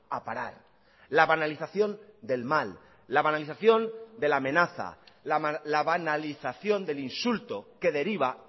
a parar la banalización del mal la banalización de la amenaza la banalización del insulto que deriva